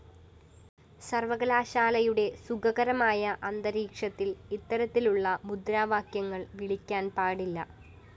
സര്‍വകലാശാലയുടെ സുഖകരമായ അന്തരീക്ഷത്തില്‍ ഇത്തരത്തിലുള്ള മുദ്രാവാക്യങ്ങള്‍ വിളിക്കാന്‍ പാടില്ല